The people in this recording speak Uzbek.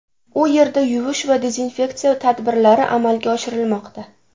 U yerda yuvish va dezinfeksiya tadbirlari amalga oshirilmoqda.